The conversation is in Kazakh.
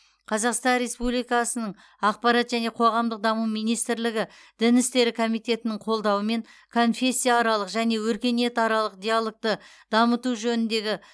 қазақстан республикасының ақпарат және қоғамдық даму министрлігі дін істері комитетінің қолдауымен конфессияаралық және өркениетаралық диалогты дамыту жөніндегі